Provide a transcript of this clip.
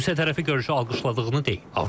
Rusiya tərəfi görüşü alqışladığını deyib.